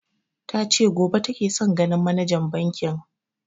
Ta ce gobe take son ganin manajan bankin